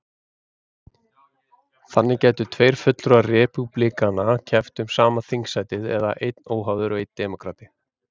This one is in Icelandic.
Þannig gætu tveir fulltrúar repúblikana keppt um sama þingsætið, eða einn óháður og einn demókrati.